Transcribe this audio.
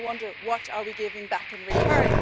I wonder what are we giving back in return?